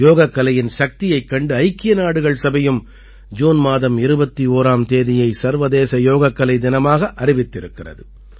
யோகக்கலையின் சக்தியைக் கண்டு ஐக்கிய நாடுகள் சபையும் ஜூன் மாதம் 21ஆம் தேதியை சர்வதேச யோகக்கலை தினமாக அறிவித்திருக்கிறது